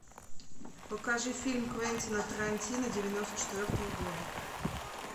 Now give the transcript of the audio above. покажи фильм квентина тарантино девяносто четвертого года